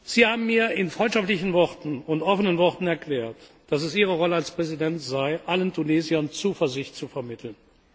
Sie haben mir in freundschaftlichen und offenen Worten erklärt, dass es Ihre Rolle als Präsident sei, allen Tunesiern Zuversicht zu vermitteln.